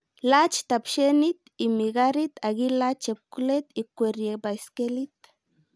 Lach tapshenit imi karit ak ilach chepkulet ikuerie baiskelit